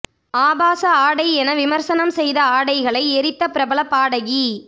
ஆபாச ஆடை என விமர்சனம் செய்த ஆடைகளை எரித்த பிரபல பாடகி